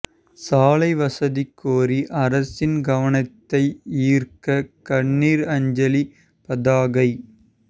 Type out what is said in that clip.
சாலை வசதி கோரி அரசின் கவனத்தை ஈா்க்க கண்ணீா் அஞ்சலி பதாகை